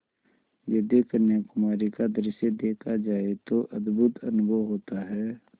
यदि कन्याकुमारी का दृश्य देखा जाए तो अद्भुत अनुभव होता है